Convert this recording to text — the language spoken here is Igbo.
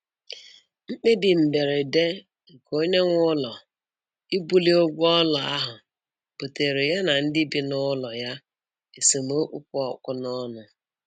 Mkpebi mberede nke onye nwe ụlọ ibuli ụgwọ ụlọ ahụ buteere ya ndị bị n'ụlọ ya esemokwu kpụ ọkụ n'ọnụ